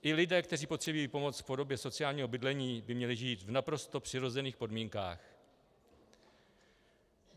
I lidé, kteří potřebují pomoc v podobě sociálního bydlení, by měli žít v naprosto přirozených podmínkách.